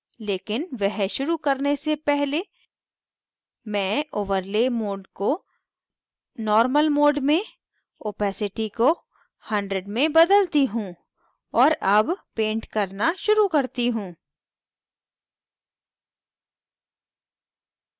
लेकिन वह शुरू करने से पहले मैं overlay mode को normal mode में opacity को 100 में बदलती हूँ और अब पेंट करना शुरू करती हूँ